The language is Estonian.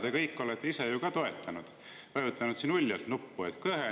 Seda kõike te olete ise ju toetanud, olete siin uljalt nuppu vajutanud.